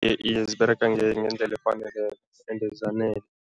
Iye, ziberega ngendlela efaneleko ende zanele.